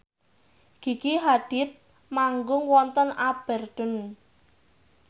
Gigi Hadid manggung wonten Aberdeen